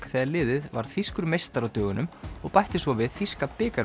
þegar liðið varð þýskur meistari á dögunum og bætti svo við þýska